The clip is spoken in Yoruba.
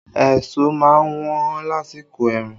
Èso má ń wọ́n lásìkò ẹ̀rùn